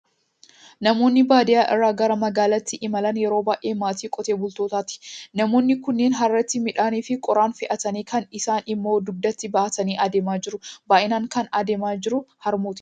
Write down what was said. Namoonni baadiyyaa irraa gara magaalaatti imalan yeroo baay'ee maatii qotee bultootaati. Namoonni kunneen harreetti midhaanii fi qoraan fe'atanii, kaan isaanii immoo dugdatti baatanii adeemaa jiru. Baay'inaan kan adeemaa jiru harmootiidha.